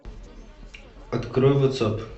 открой ватсап